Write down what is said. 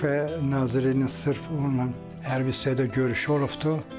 Müdafiə Nazirliyinin sırf onunla hərbi hissədə görüşü olubdur.